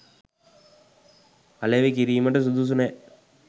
අලෙවි කිරීමට සුදුසු නෑ.